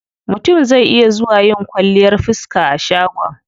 Mutum zai iya zuwa yin kwalliyar fiska a shagon.